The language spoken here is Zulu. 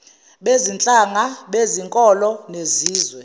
bezinhlanga bezinkolo nezizwe